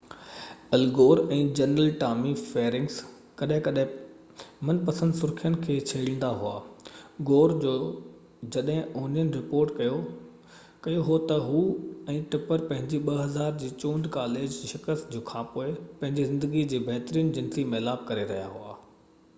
ال Gore ۽ general Tommy Franks ڪڏهن ڪڏهن پنهنجي منپسند سرخين کي ڇيڙيندا هئا گور جو جڏهن اونين رپورٽ ڪيو هو ته هو ۽ ٽپر پنهنجي 2000 جي چونڊ ڪاليج جي شڪست کانپوءِ پنهنجي زندگي جي بهترين جنسي ميلاپ ڪري رهيا هئا